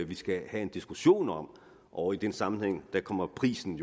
vi skal have en diskussion om og i den sammenhæng kommer prisen